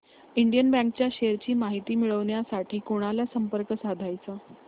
Indian bank च्या shares ची माहिती मिळविण्यासाठी कोणाला संपर्क साधायचा